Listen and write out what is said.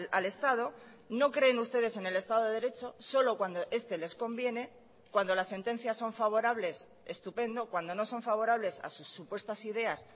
al estado no creen ustedes en el estado de derecho solo cuando este les conviene cuando las sentencias son favorables estupendo cuando no son favorables a sus supuestas ideas